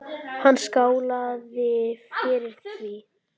Hún skálaði fyrir því.